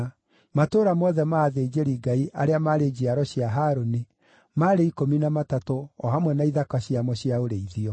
Matũũra mothe ma athĩnjĩri-Ngai, arĩa maarĩ njiaro cia Harũni, maarĩ ikũmi na matatũ o hamwe na ithaka ciamo cia ũrĩithio.